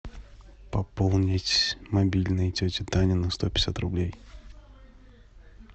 пополнить мобильный тетя таня на сто пятьдесят рублей